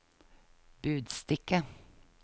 budstikke